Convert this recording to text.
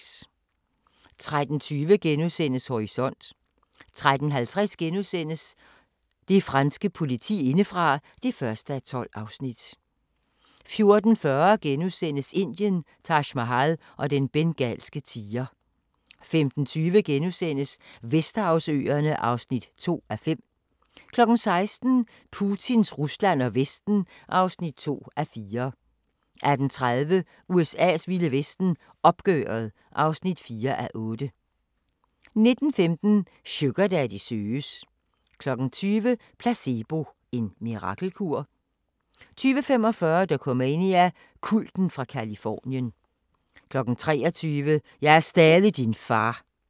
13:20: Horisont * 13:50: Det franske politi indefra (1:12)* 14:40: Indien – Taj Mahal og den bengalske tiger * 15:20: Vesterhavsøerne (2:5) 16:00: Putins Rusland og Vesten (2:4) 18:30: USA's vilde vesten: Opgøret (4:8) 19:15: Sugardaddy søges 20:00: Placebo – en mirakelkur? 20:45: Dokumania: Kulten fra Californien 23:00: Jeg er stadig din far!